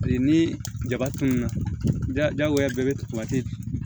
Hali ni jaba tununna jagoya bɛɛ be